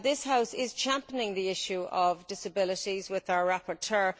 This House is championing the issue of disabilities with our rapporteur.